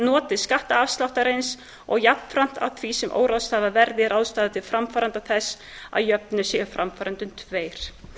notið skattafsláttarins og jafnframt að því sem óráðstafað er verði ráðstafað til framfærenda þess að jöfnu séu framfærendur tveir